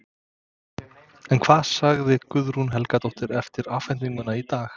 En hvað sagði Guðrún Helgadóttir eftir afhendinguna í dag?